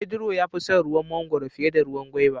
Pedro ya fi son ruwa mangoro fiye da ruwan gwaiva.